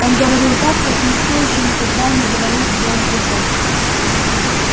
он говорил так как никто ещё никогда не говорил с белым клыком